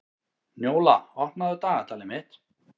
Njóla, opnaðu dagatalið mitt.